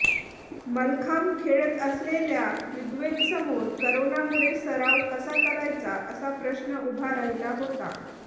मल्लखांब खेळत असलेल्या ऋग्वेदसमोर करोनामुळे सराव कसा करायचा असा प्रश्न उभा राहिला होता